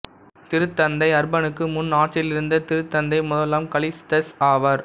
திருத்தந்தை அர்பனுக்கு முன் ஆட்சியிலிருந்த திருத்தந்தை முதலாம் கலிஸ்டஸ் ஆவார்